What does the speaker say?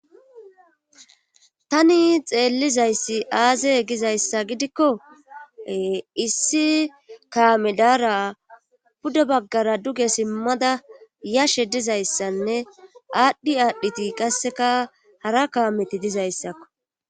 Tani xeellizayssi aaze gizayssa gidikko ee issi kaame daara pude baggara duge simmada yashe dizayssanne aadhi aadhidi qasseka hara kaameti dizayssako.